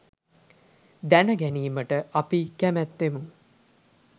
දැනගැනීමට අපි කැමැත්තෙමු.